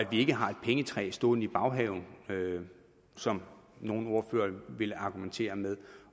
vi ikke har et pengetræ stående i baghaven som nogle ordførere ville argumentere med